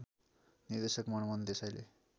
निर्देशक मनमोहन देसाईले